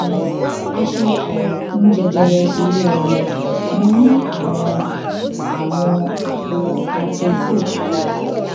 a ṣe àyẹwò fún jẹjẹrẹ ile omo mo ní àwọn àwọn àpò hypoechoic